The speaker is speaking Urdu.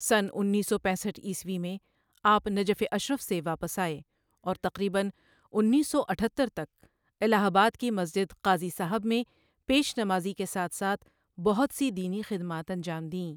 سنہ اُنیس سو پنیسٹھ عیسوی میں آپ نجف اشرف سے واپس آئے اور تقریبًا اُنیس سو اٹھتر تک الہ آباد کی مسجد قاضی صٓاحب میں پیش نمازی کے ساتھ ساتھ بہت سی دینی خدمات انجام دیں ـ